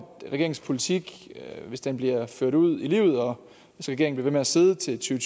regeringens politik hvis den bliver ført ud i livet og hvis regeringen bliver siddende til